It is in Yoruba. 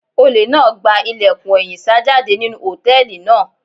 Olè náà gba ilẹ̀kùn ẹ̀yìn sá jáde nínú hòtẹ́ẹ̀lì náà.